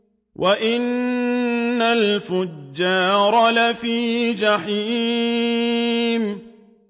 وَإِنَّ الْفُجَّارَ لَفِي جَحِيمٍ